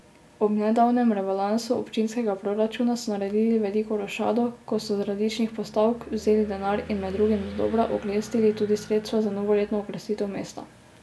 Ob nedavnem rebalansu občinskega proračuna so naredili veliko rošado, ko so z različnih postavk vzeli denar in med drugim dodobra oklestili tudi sredstva za novoletno okrasitev mesta.